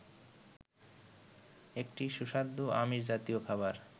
একটি সুস্বাদু আমিষ জাতীয় খাবার